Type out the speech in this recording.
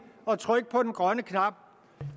at trykke på den grønne knap